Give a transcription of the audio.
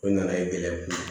O nana ye gɛlɛya